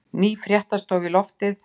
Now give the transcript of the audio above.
Ný fréttastofa í loftið